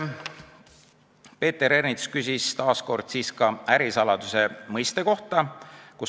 Peeter Ernits küsis taas kord ärisaladuse mõiste kohta.